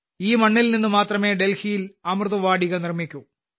ഈ മണ്ണിൽ നിന്നു മാത്രമേ ഡൽഹിയിൽ അമൃതവാടിക നിർമിക്കൂ